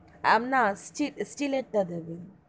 না steel এর তা দেবেন,